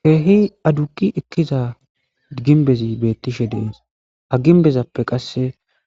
keehi aduqi ekkiza ginbezi beettishe dees ha ginbezappe qasse